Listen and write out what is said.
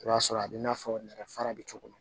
I b'a sɔrɔ a bɛ n'a fɔ nɛgɛ fara bɛ cogo min na